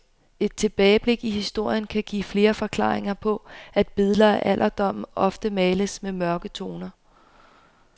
Et tilbageblik i historien kan give flere forklaringer på at billeder af alderdommen ofte males med mørke toner.